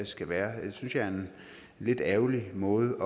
skal være det synes jeg er en lidt ærgerlig måde